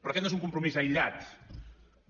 però aquest no és un compromís aïllat